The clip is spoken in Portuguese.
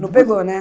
Não pegou, né?